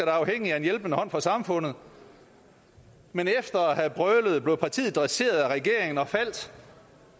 er afhængige af en hjælpende hånd fra samfundet men efter at have prøvet blev partiet dresseret af regeringen og faldt